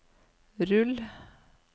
rull